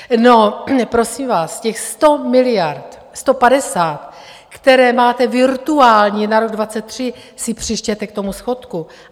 No prosím vás, těch 100 miliard, 150, které máte virtuální na rok 2023, si přičtěte k tomu schodku.